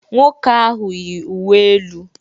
Nwoke ahụ yi uwe elu